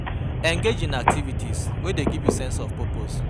Engage in activities wey dey give you sense of purpose